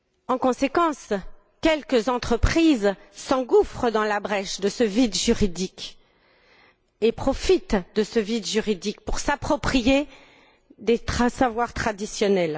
En conséquence, quelques entreprises s'engouffrent dans la brèche de ce vide juridique et profitent de ce vide juridique pour s'approprier des savoirs traditionnels.